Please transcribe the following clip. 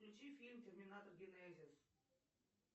включи фильм терминатор генезис